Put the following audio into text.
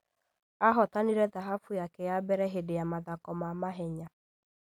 Ahotanire thahabu yake ya mbere hĩndĩ ya mathako ma mahenya